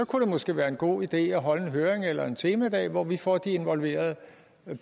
kunne det måske være en god idé at holde en høring eller en temadag hvor vi får de involverede